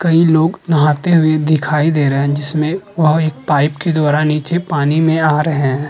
कई लोग नहाते हुए दिखाई दे रहे हैं। जिसमे वह एक पाइप के द्वारा नीचे पानी में आ रहे हैं।